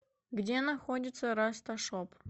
где находится расташоп